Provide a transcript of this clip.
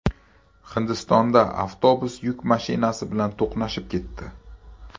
Hindistonda avtobus yuk mashinasi bilan to‘qnashib ketdi.